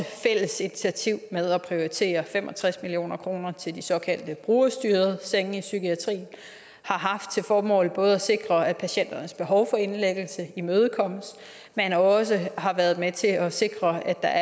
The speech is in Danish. fælles initiativ med at prioritere fem og tres million kroner til de såkaldte brugerstyrede senge i psykiatrien har haft til formål både at sikre at patienternes behov for indlæggelse imødekommes men også har været med til at sikre at der